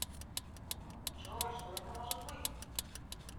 джой что это может быть